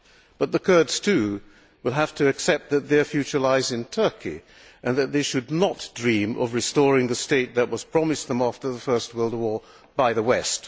But the Kurds too will have to accept that their future lies in Turkey and that they should not dream of restoring the state that was promised them after the First World War by the West.